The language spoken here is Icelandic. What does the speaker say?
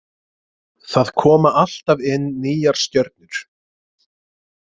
Það koma alltaf inn nýjar stjörnur.